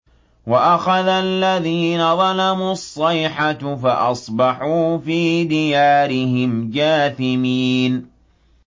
وَأَخَذَ الَّذِينَ ظَلَمُوا الصَّيْحَةُ فَأَصْبَحُوا فِي دِيَارِهِمْ جَاثِمِينَ